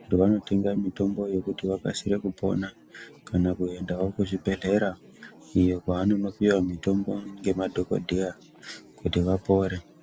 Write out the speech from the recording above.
kuti vanotenga mitombo yekuti vakasire kupora. Kana kuendawo kuzvibhedhlera iyo kwavanonopiwa mitombo ngemadhogodheya kuti vapore.